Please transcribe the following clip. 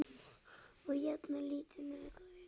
Og jafnan lítið.